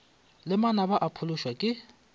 le manaba o phološwa ke